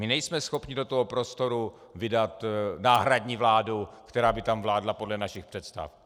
My nejsme schopni do toho prostoru vydat náhradní vládu, která by tam vládla podle našich představ.